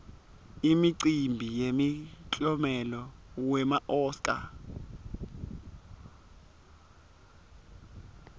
imicimbi yemiklomelo wema oscar